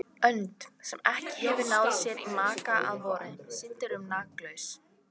Önd, sem ekki hefur náð sér í maka að vori, syndir um makalaus.